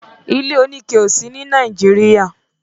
ilé oní ke ọ sí ní Nàìjíríà.